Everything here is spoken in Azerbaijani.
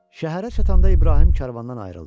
Şəhərə çatanda İbrahim karvandan ayrıldı.